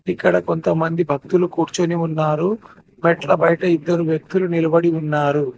ఇక్కడ కొంతమంది భక్తులు కూర్చోని ఉన్నారు మెట్ల బయట ఇద్దరు వ్యక్తులు నిలబడి ఉన్నారు.